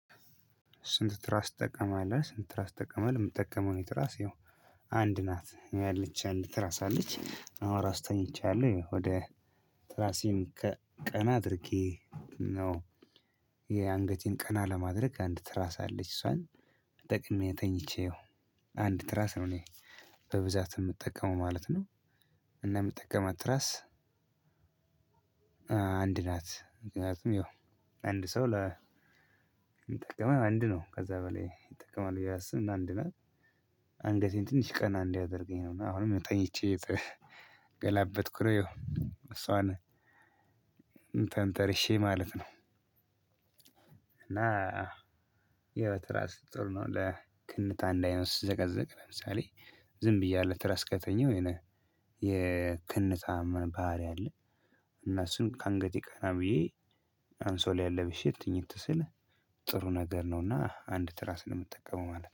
ስንት ትራስ ትጠቀማለህ? ስንት ትራስ ትጠቀማለህ? ምጠቀመው እኔ ትራስ ይኸው አንድ ናት ያለች አንድ ትራስ አለች አሁን እራሱ ተኝቻለሁ ይሀው ወደ ትራሴን ከቀና አድርጌ ነው። የአንገቴን ቀና ለማድረግ አንድ ትራስ አለች እሷን ተጠቅሜ ተኝቼ ያው አንድ ትራስ ነው እኔ በብዛት የምጠቀመው ማለት ነው። እና የምጠቀማት ትራስ። አንድ ናት ምክኒያቱም ያው አንድ ሰው ለ ሚጠቀመው ያው አንድ ነው ከዛ በላይ ይጠቀማል ብዬ አላስብም። እና አንድ ናት። አንገቴን ትንሽ ቀና እንዲያደርገኝ ነው እና አሁንም ያው ተኝቼ ገላበጥኩ ነው ያው እሷን ተንተርሼ ማለት ነው። እና ያው ራስ ጥሩ ነው ለክንታ እንዳይሆን ሲዘቀዘቅ ለምሳሌ ዝም ብዬ አለ ትራስ ከተኛው የሆነ የክንታ ባህሪ አለ። እና እሱን ከአንገቴ ቀና ብዬ አንሶላዬን ለብሼ ትኝት ስል ጥሩ ነገር ነውና አንድ ትራስ ነው ምጠቀመው ማለት